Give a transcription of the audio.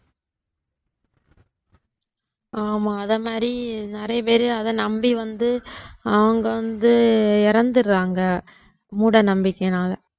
ஆமா அத மாதிரி நிறைய பேரு அத நம்பி வந்து அவங்க வந்து இறந்துடுறாங்க மூடநம்பிக்கையினால